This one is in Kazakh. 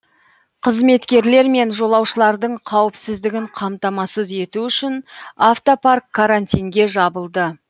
қызметкерлер мен жолаушылардың қауіпсіздігін қамтамасыз ету үшін автопарк карантинге жабылды